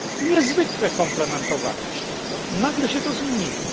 Niezwykle komplementowaliście to, nagle się to zmieniło.